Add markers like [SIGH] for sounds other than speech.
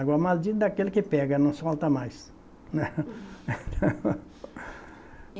Agora, maldito daquele que pega, não solta mais, né. [LAUGHS]